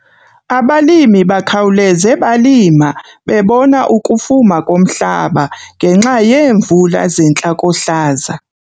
Abalimi bakhawuleze balima bebona ukufuma komhlaba ngenxa yeemvula zentlakohlaza.